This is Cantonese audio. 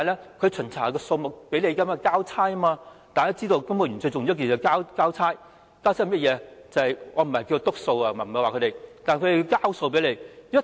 提供巡查數目只是為了交差，大家也知道，公務員最重要的是交差，甚麼是交差呢？